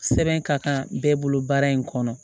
Sɛbɛn ka kan bɛɛ bolo baara in kɔnɔ